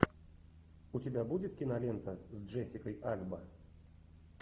у тебя будет кинолента с джессикой альба